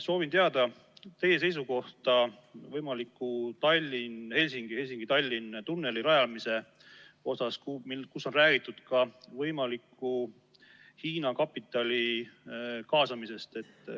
Soovin teada teie seisukohta võimaliku Tallinna–Helsingi, Helsingi–Tallinna tunneli rajamises, mille puhul on räägitud ka võimaliku Hiina kapitali kaasamisest.